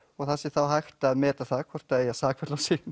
það sé þá hægt að meta það hvort það eigi að sakfella og sýkna